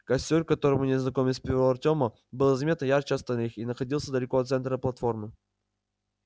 костёр к которому незнакомец привёл артёма был заметно ярче остальных и находился далеко от центра платформы